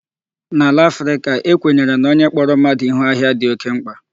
N'ala Africa, e kwenyere na onye kpọrọ mmadụ Ihu ahịa dị oké mkpa.